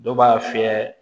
Dɔw b'a fiyɛ